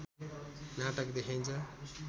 नाटक देखाइन्छ